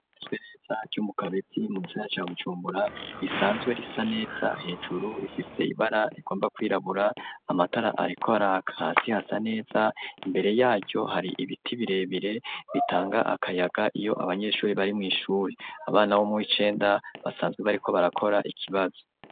Ryubatswe neza ryo mu kabezi mu Gisagara ca Bujumbura risanzwe risa neza .Hejuru rifise ibara rigomba kwirabura amatara arikora kasi hasa neza imbere yaryo hari ibiti birebire bitanga akayaga iyo abanyeshuri bari mu ishuri abana bo mu icenda basanzwe bariko barakora ikibazo.